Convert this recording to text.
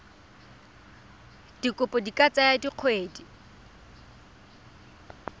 dikopo di ka tsaya dikgwedi